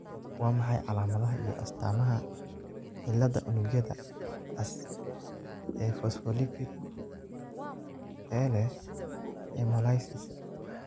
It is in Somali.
Waa maxay calaamadaha iyo astaamaha cilladda unugyada cas ee fosfolipid ee leh hemolysis?